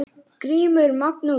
GRÍMUR: Magnús!